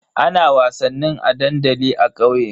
Ana wasannin a dandali a kauye.